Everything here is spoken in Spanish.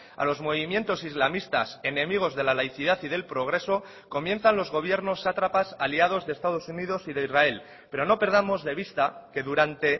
a los movimientos islamistas enemigos de la laicidad y del progreso comienzan los gobiernos sátrapas aliados de estados unidos y de israel pero no perdamos de vista que durante